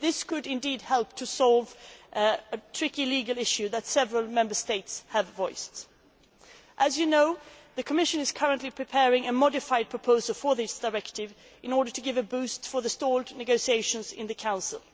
This could indeed help to resolve a tricky legal issue that several Member States have mentioned. As you know, the Commission is currently preparing a modified proposal for this directive in order to give a boost to the stalled negotiations in the Council.